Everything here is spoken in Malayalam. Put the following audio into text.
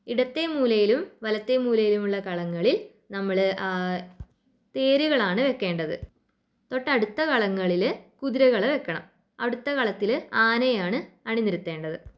ഇടത്തെ മൂലയിലും വലത്തെ മൂലയിലുള്ള കളങ്ങളിൽ നമ്മള് ആഹ് തേരുകളാണ് വെക്കേണ്ടത്. തൊട്ടടുത്ത കളങ്ങളില് കുതിരകളെ വെക്കണം അടുത്ത കളത്തില് ആനയെയാണ് അണിനിരത്തേണ്ടത്.